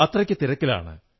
അത്രയ്ക്കു തിരക്കിലാണ്